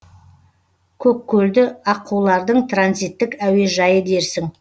көккөлді аққулардың транзиттік әуежайы дерсің